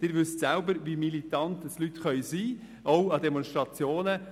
Sie wissen selber, wie militant Leute sein können, auch an Demonstrationen.